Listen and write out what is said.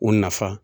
U nafa